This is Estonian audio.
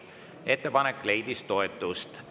Ettepanek leidis toetust.